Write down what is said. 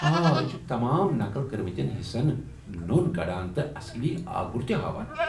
آ، یہ چُھ تمام نقل كِرِمتین حِصن نو٘ن كڈان تہٕ اصلی آگُر تہِ ہاوان ۔